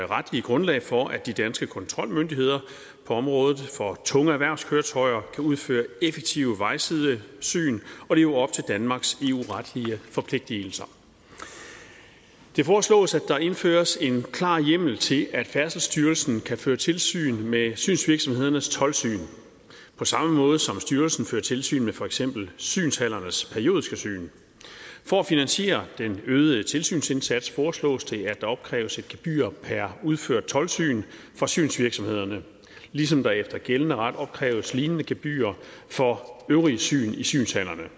retlige grundlag for at de danske kontrolmyndigheder på området for tunge erhvervskøretøjer kan udføre effektive vejsidesyn og leve op til danmarks eu retlige forpligtelser det foreslås at der indføres en klar hjemmel til at færdselsstyrelsen kan føre tilsyn med synsvirksomhedernes toldsyn på samme måde som styrelsen fører tilsyn med for eksempel synshallernes periodiske syn for at finansiere den øgede tilsynsindsats foreslås det at der opkræves et gebyr per udført toldsyn for synsvirksomhederne ligesom der efter gældende ret opkræves lignende gebyrer for øvrige syn i synshallerne